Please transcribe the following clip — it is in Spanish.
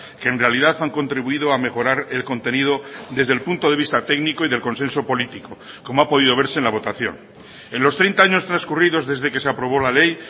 que en realidad han contribuido a mejorar el contenido desde el punto de vista técnico y del consenso político como ha podido verse en la votación en los treinta años transcurridos desde que se aprobó la ley